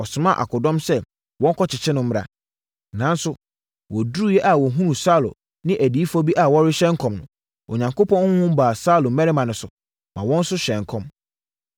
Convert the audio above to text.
ɔsomaa akodɔm sɛ wɔnkɔkye no mmra. Nanso, wɔduruiɛ a wɔhunuu Samuel ne adiyifoɔ bi sɛ wɔrehyɛ nkɔm no, Onyankopɔn honhom baa Saulo mmarima no so, maa wɔn nso hyɛɛ nkɔm.